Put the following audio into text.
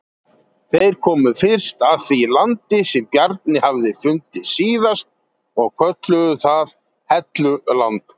Þeir komu fyrst að því landi sem Bjarni hafði fundið síðast og kölluðu það Helluland.